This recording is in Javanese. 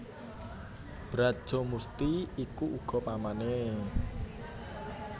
Brajamusti iku uga pamané